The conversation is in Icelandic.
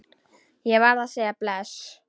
Ég varð að segja bless.